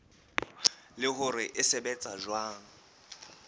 le hore se sebetsa jwang